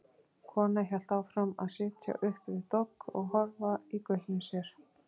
Konan hélt áfram að sitja upp við dogg og horfa í gaupnir sér.